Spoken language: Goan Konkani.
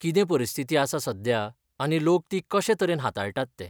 कितें परिस्थिती आसा सध्या आनी लोक ती कशे तरेन हाताळटात तें.